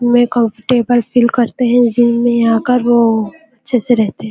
में comfortable feel करते है जिम में आकर वो अच्छे से रहते हैं।